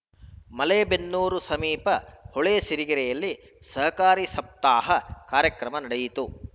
ಮಲೇಬೆನ್ನೂರು ಸಮೀಪ ಹೊಳೆಸಿರಿಗೆರೆಯಲ್ಲಿ ಸಹಕಾರ ಸಪ್ತಾಹ ಕಾರ್ಯಕ್ರಮ ನಡೆಯಿತು